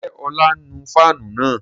Ǹjẹ́ ọlá nu fáànù náà?